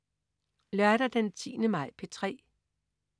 Lørdag den 10. maj - P3: